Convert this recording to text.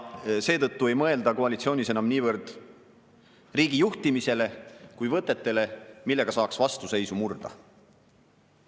Seetõttu ei mõelda koalitsioonis enam niivõrd riigi juhtimisele kuivõrd võtetele, millega saaks vastuseisu murda.